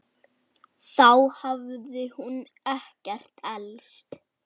Þá hafði hún ekkert elst.